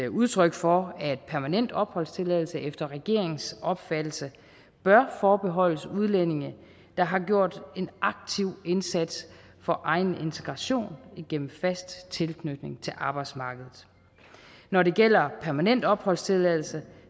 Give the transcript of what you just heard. udtryk for at permanent opholdstilladelse efter regeringens opfattelse bør forbeholdes udlændinge der har gjort en aktiv indsats for egen integration igennem fast tilknytning til arbejdsmarkedet når det gælder permanent opholdstilladelse